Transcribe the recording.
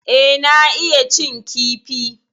E, na iya cin kifi.